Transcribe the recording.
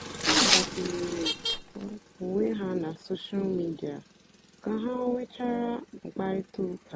ha gbàkwùnyèrè onwé ha na sóshal mìdia kà ha nwechàra mkpáịrịtà ụ́ka.